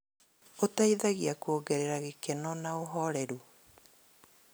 Ũteithagia kuongerera gĩkeno na ũhoreru.